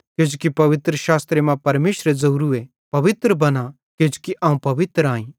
किजोकि पवित्रशास्त्रे मां परमेशरे ज़ोवरू ए पवित्र बना किजोकि अवं पवित्र आई